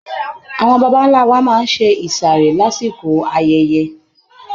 Àwọn baba ńlá wa máa ń ṣe ìsàrè lásìkò ayẹyẹ.